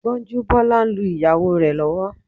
Gbọ́njúbọ́la ń lu ìyàwó rẹ̀ lọ́wọ́